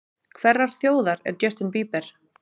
Hverrar þjóðar er Justin Bieber?